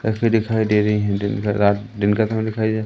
तस्वीर दिखाई दे रही है दिन का रात दिन का खाना खाई है।